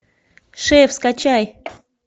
шеф скачай